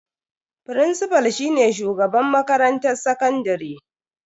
Firincifal shine shugaban makarantar sakandare.